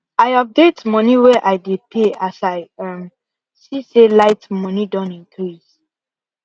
i update money way i dey pay as i um see say light money Accepted increase